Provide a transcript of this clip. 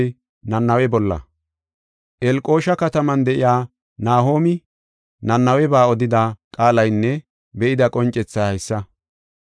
Elqosha kataman de7iya Nahoomi Nanaweba odida qaalaynne be7ida qoncethay haysa.